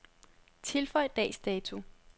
Tilføj dags dato.